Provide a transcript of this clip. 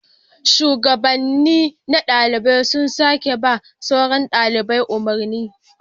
Shugabanni na dalibai su suke ba sauran dalibai umarni